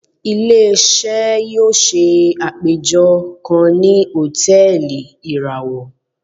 Ile-iṣẹ yóò ṣe apejọ kan ni hòtẹ́ẹ̀lì irawọ.